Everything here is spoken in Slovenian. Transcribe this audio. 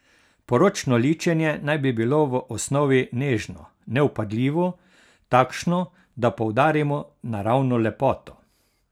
Poročno ličenje naj bi bilo v osnovi nežno, nevpadljivo, takšno, da poudarimo naravno lepoto.